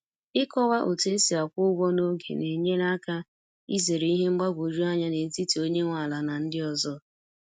Ịkọwa otu esi akwụ ụgwọ n'oge na-enyere aka izere ihe mgbagwoju anya n’etiti onye nwe ala na ndị ọzọ